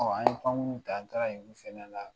An ye pankurun ta an taara yen olu fana na